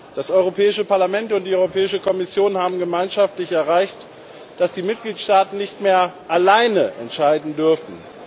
Das Europäische Parlament und die Europäische Kommission haben gemeinschaftlich erreicht, dass die Mitgliedstaaten nicht mehr allein entscheiden dürfen.